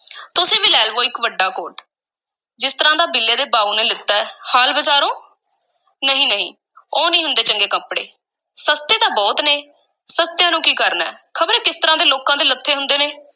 ਤੁਸੀਂ ਵੀ ਲੈ ਲਵੋ ਇੱਕ ਵੱਡਾ ਕੋਟ, ਜਿਸ ਤਰ੍ਹਾਂ ਦਾ ਬਿੱਲੇ ਦੇ ਬਾਊ ਨੇ ਲੀਤਾ ਹੈ ਹਾਲ ਬਾਜ਼ਾਰੋਂ, ਨਹੀਂ ਨਹੀਂ ਉਹ ਨਹੀਂ ਹੁੰਦੇ ਚੰਗੇ ਕੱਪੜੇ, ਸਸਤੇ ਤਾਂ ਬਹੁਤ ਨੇ, ਸਸਤਿਆਂ ਨੂੰ ਕੀ ਕਰਨਾ ਹੈ ਖ਼ਬਰੇ ਕਿਸ ਤਰਾਂ ਦੇ ਲੋਕਾਂ ਦੇ ਲੱਥੇ ਹੁੰਦੇ ਨੇ।